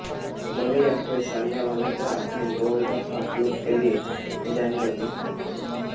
Bollywood actress Sanya Malhotra अपने bold और hot look के लिए जानी जाती हैं